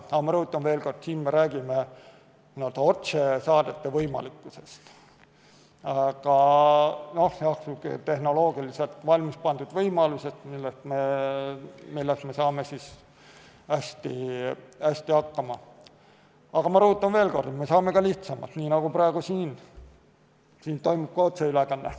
Aga ma rõhutan veel kord, me räägime otsesaadete võimalikkusest ja tehnoloogilisest võimalusest, millega me saaksime hästi hakkama, kuid me saame ka lihtsamalt, nii nagu praegu siin, kus toimub otseülekanne.